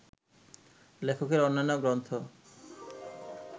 লেখকের অন্যান্য গ্রন্থ